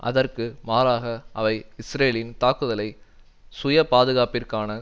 அதற்கு மாறாக அவை இஸ்ரேலின் தாக்குதலை சுயபாதுகாப்பிற்கான